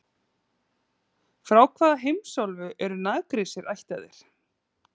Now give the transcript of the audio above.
Frá hvaða heimsálfu eru Nagrísir ættaðir?